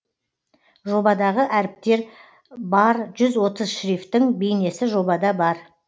жобадағы әріптер бар жүз отыз шрифтің бейнесі жобада бар